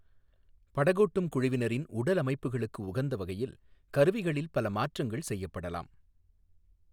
படகோட்டும் குழுவினரின் உடலமைப்புகளுக்கு உகந்த வகையில் கருவிகளில் பல மாற்றங்கள் செய்யப்படலாம்.